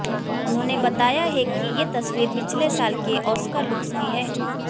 उन्होंने बताया है कि ये तस्वीर पिछले साल के ऑस्कर लुक्स की है